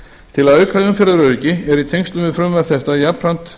til að auka umferðaröryggi er í tengslum við frumvarp þetta jafnframt